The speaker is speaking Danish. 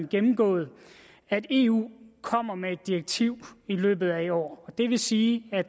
gennemgået at eu kommer med et direktiv i løbet af i år det vil sige at